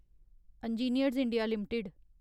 engineers India limited